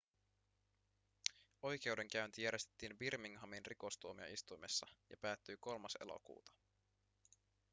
oikeudenkäynti järjestettiin birminghamin rikostuomioistuimessa ja päättyi 3 elokuuta